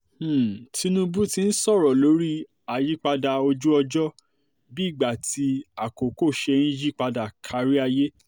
um tinúbú tún sọ̀rọ̀ lórí um àyípadà ojú-ọjọ́ bí ìgbà àti àkókò ṣe ń yí padà kárí ayé